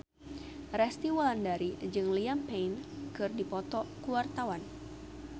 Resty Wulandari jeung Liam Payne keur dipoto ku wartawan